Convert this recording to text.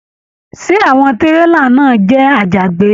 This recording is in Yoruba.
Ṣé àwọn tírélà náà jẹ àjàgbé?